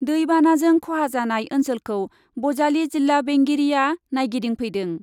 दै बानाजों ख'हा जानाय ओन्सोलखौ बजालि जिल्ला बेंगिरिआ नायगिदिंफैदों ।